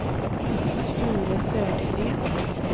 Sture Södergren